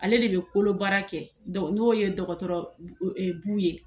Ale de be kolo baara kɛ n'o ye dɔgɔtɔrɔ Bu ye.